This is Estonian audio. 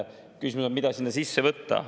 Küsimus on, mida sinna sisse võtta.